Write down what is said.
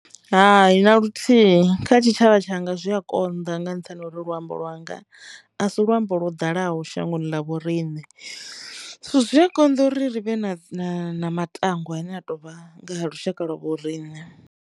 Hai, na luthihi kha tshitshavha tshanga zwi a konḓa nga nṱhani ha uri luambo lwanga a si luambo lwo ḓalaho shangoni ḽa vho rine zwi a konḓa uri ri vhe na matangwa ane a tovha nga lushaka lwa vho riṋe.